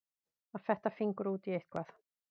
Að fetta fingur út í eitthvað